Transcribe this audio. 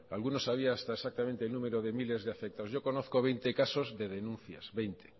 algunos sabía hasta exactamente el número de miles de afectados yo conozco veinte casos de denuncias veinte